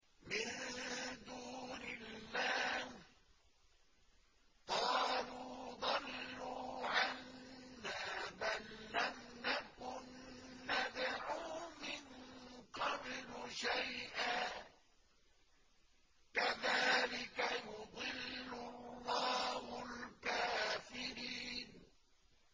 مِن دُونِ اللَّهِ ۖ قَالُوا ضَلُّوا عَنَّا بَل لَّمْ نَكُن نَّدْعُو مِن قَبْلُ شَيْئًا ۚ كَذَٰلِكَ يُضِلُّ اللَّهُ الْكَافِرِينَ